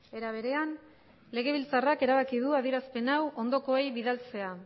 era berean legebiltzarrak erabaki du adierazpen hau ondokoei bidaltzea